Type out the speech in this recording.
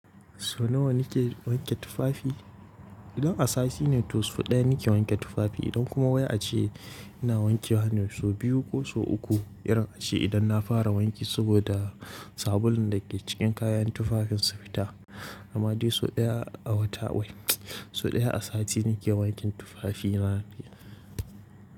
So nawa nike wanke tufafi? Idan a sati ne to sau ɗaya nake wanke tufafi. Idan kuma waya ace ina wanke wa ne so biyu ko so uku irin ace idan na fara wanki saboda sabulun da ke cikin kayan tufafin su fita. Amma dai so ɗaya a wata wai so ɗaya a sati nake wanke tufafi na.